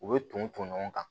U bɛ ton ɲɔgɔn kan